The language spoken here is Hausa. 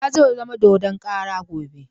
Bala zai zama dodon kara gobe.